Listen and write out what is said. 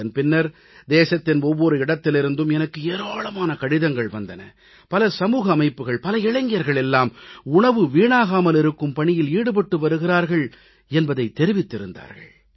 இதன் பின்னர் தேசத்தின் ஒவ்வொரு இடத்திலிருந்தும் எனக்கு ஏராளமான கடிதங்கள் வந்தன பல சமூக அமைப்புகள் பல இளைஞர்கள் எல்லாம் உணவு வீணாகாமல் இருக்கும் பணியில் ஈடுபட்டு வருகிறார்கள் என்பதைத் தெரிவித்திருந்தார்கள்